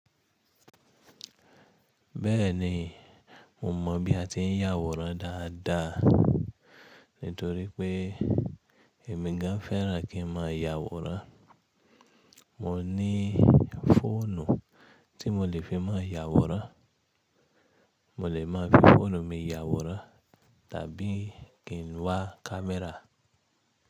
Bẹ́ẹ̀ni, mo mọ̀ bí a ti ń yàwòrán dáadáa nítorí pé èmi gan fẹ́ràn kí n máa yàwòrán. Mo ní fóònù tí mo lè fi máa yàwòrán, mo lè máa fi fóònù mi yàwòrán tàbí kí n wa cámẹ́rà.